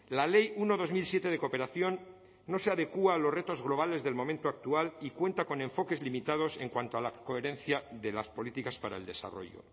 la ley uno barra dos mil siete de cooperación no se adecua a los retos globales del momento actual y cuenta con enfoques limitados en cuanto a la coherencia de las políticas para el desarrollo